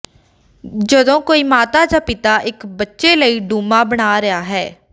ਜਦੋਂ ਕੋਈ ਮਾਤਾ ਜਾਂ ਪਿਤਾ ਇੱਕ ਬੱਚੇ ਲਈ ਡੂਮਾ ਬਣਾ ਰਿਹਾ ਹੈ